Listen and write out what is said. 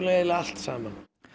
eiginlega allt saman